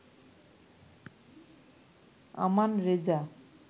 Aman Reza